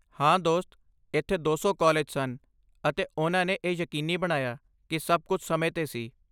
ਹਾਂ, ਦੋਸਤ, ਇੱਥੇ ਦੋ ਸੌ ਕਾਲਜ ਸਨ ਅਤੇ ਉਨ੍ਹਾਂ ਨੇ ਇਹ ਯਕੀਨੀ ਬਣਾਇਆ ਕੀ ਸਭ ਕੁੱਝ ਸਮੇਂ 'ਤੇ ਸੀ